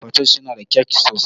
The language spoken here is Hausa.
Patoosh suna da kyak sosai